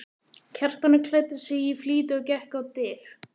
Kjartan klæddi sig í flýti og gekk á dyr.